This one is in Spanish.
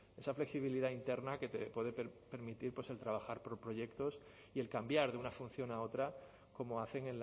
esa flexibilidad interna que puede permitir el trabajar por proyectos y el cambiar de una función a otra como hacen